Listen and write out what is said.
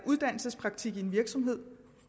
uddannelsespraktik i en virksomhed